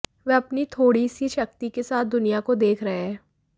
वह अपनी थोड़ी सी शक्ति के साथ दुनिया को देख रहे हैं